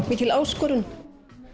mikil áskorun